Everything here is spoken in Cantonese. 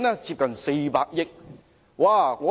接近400億元。